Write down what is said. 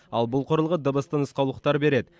ал бұл құрылғы дыбысты нұсқаулықтар береді